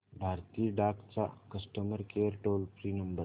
भारतीय डाक चा customer care toll free number